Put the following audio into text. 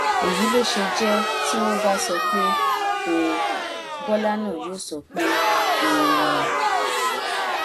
èyí ló ṣe jẹ tí wọn bá sọ pé họọ bọlá náà yóò sọ pé họọ ni